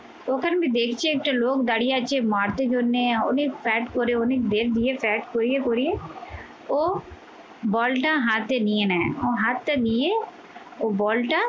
তখন দেখছি একটা লোক দাঁড়িয়ে আছে মারতে জন্যে অনেক side করে, অনেক দের নিয়ে side করিয়ে করিয়ে ও বলটা হাতে নিয়ে নেয়, হাতটা নিয়ে ওই বলটা